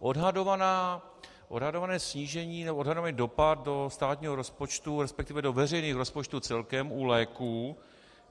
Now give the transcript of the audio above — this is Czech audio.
Odhadované snížení nebo odhadovaný dopad do státního rozpočtu, respektive do veřejných rozpočtů celkem u léků